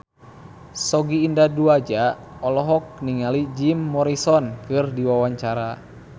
Sogi Indra Duaja olohok ningali Jim Morrison keur diwawancara